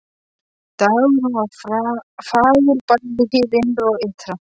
Dagurinn var fagur bæði hið innra og ytra.